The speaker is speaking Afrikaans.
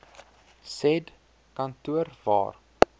said kantoor waar